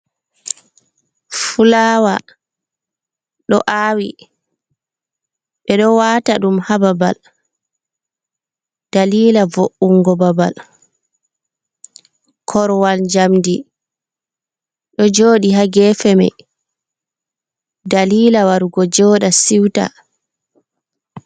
Fulaawa ɗo aawi ɓe ɗo waata ɗum haa babal ,daliila vo’ungo babal. Korowal njamndi ɗo jooɗi haa geefe may daliila warugo joɗa siwta.